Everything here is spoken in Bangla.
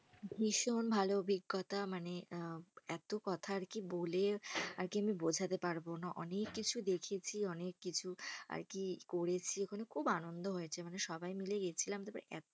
ভীষণ ভালো অভিজ্ঞতা। মানে আহ এতো কথা আর কি বলে আর কি আমি বোঝাতে পারবোনা। অনেক কিছু দেখেছি, অনেক কিছু আর কি করেছি ওখানে খুব আনন্দ হয়েছে। মানে সবাই মিলে গেছিলাম তো